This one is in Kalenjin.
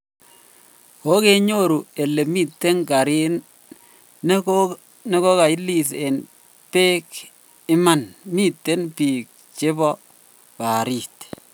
Kogenyoru ele miten gari negoga ilis en peg iman miten pig chepo barit.